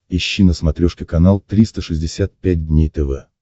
ищи на смотрешке канал триста шестьдесят пять дней тв